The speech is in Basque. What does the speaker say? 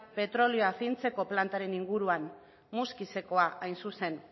petrolio fintzeko plantaren inguruan muskizekoa hain zuzen